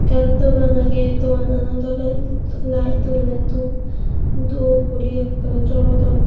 en dogan agey doganano tolendi light donne doob doob guri ekkore jolodon.